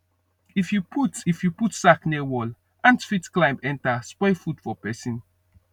if you put if you put sack near wall ant fit climb enter spoil food for person